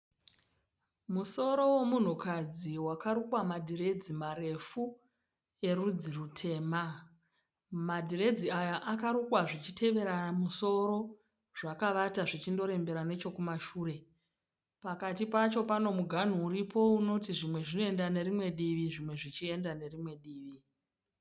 Musoro womunhukadzi wakarukwa madhiredzi marefu erudzi rutema. Madhiredzi yaya akarukwa zvichitevera musoro zvakavata zvichindorembera nechekumashure. Pati pacho pano muganhu uripo unoti zvimwe zvinoenda nerimwe divi zvimwe zvichienda nerimwe divi.